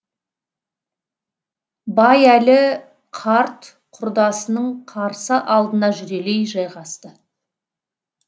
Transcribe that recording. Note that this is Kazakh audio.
байәлі қарт құрдасының қарсы алдына жүрелей жайғасты